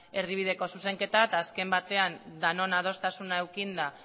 erdibideko zuzenketa eta azken batean denon adostasuna edukita